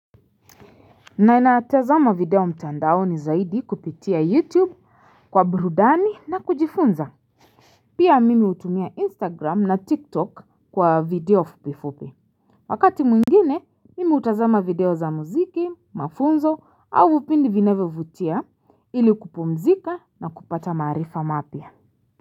Na ninatazama video mtandaoni zaidi kupitia YouTube kwa burudani na kujifunza. Pia mimi hutumia Instagram na TikTok kwa video fupifupi. Wakati mwingine, mimi hutazama video za muziki, mafunzo au vipindi vinavyovutia ili kupumzika na kupata maarifa mapya.